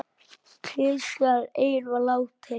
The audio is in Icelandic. Klisjan ein var látin duga.